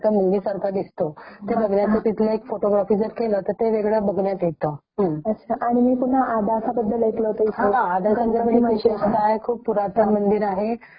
खूप पुरातन मंदिर आहे ते तिथलं असं एक मंदिर आहे कि तिथे एका रूम भर एका गणपती ची मूर्ती विराजमान आहे जी अगदी रूम पर्यंत टच झाली आहे .रूम च्या टोका पर्यंत